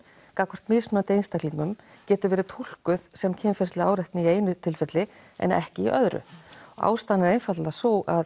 gagnvart mismunandi einstaklingum getur verið túlkuð sem kynferðisleg áreitni í einu tilviki en ekki í öðru ástæðan er einfaldlega sú að